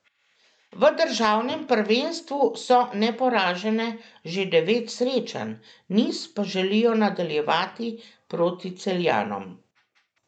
V državnem prvenstvu so neporažene že devet srečanj, niz pa želijo nadaljevati proti Celjanom.